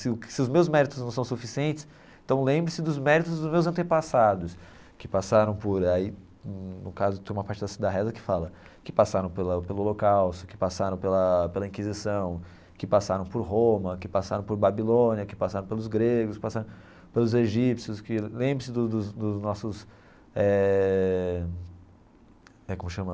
Se se os meus méritos não são suficientes, então lembre-se dos méritos dos meus antepassados, que passaram por... Aí, no caso, tem uma parte assim da reza que fala que passaram pelo pelo Holocausto, que passaram pela pela Inquisição, que passaram por Roma, que passaram por Babilônia, que passaram pelos gregos, que passaram pelos egípcios, que... Lembre-se dos dos dos nossos eh... É como chama...